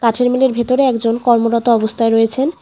গাছের মিলের ভিতরে একজন কর্মরত অবস্হায় রয়েছেন।